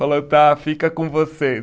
Falou, tá, fica com vocês.